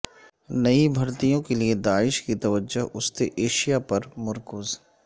نئی بھرتیوں کے لیے داعش کی توجہ وسطی ایشیا پر مرکوز